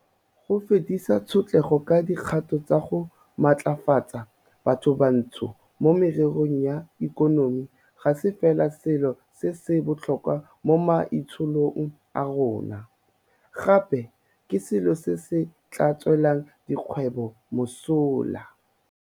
Go fedisa tshotlego ka dikgato tsa go matlafatsa bathobantsho mo mererong ya ikonomi ga se fela selo se se botlhokwa mo maitsholong a rona, gape ke selo se se tla tswelang dikgwebo mosola.